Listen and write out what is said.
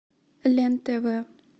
лен тв